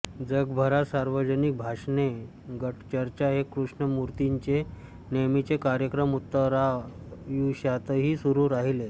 जगभरात सार्वजनिक भाषणे गटचर्चा हे कृष्णमूर्तींचे नेहमीचे कार्यक्रम उत्तरायुष्यातही सुरू राहिले